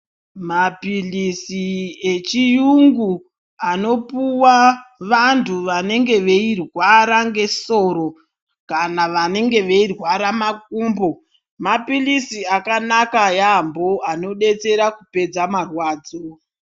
Maphilisi echiyungu anopuwa vantu vanenge veyirwara ngesoro, kana vanenge veyirwara makumbo, maphilisi akanaka yambo, anodetsera kupedza marwadzo.